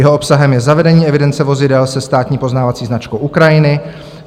Jeho obsahem je zavedení evidence vozidel se státní poznávací značkou Ukrajiny.